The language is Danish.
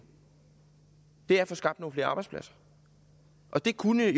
er at få skabt nogle flere arbejdspladser og det kunne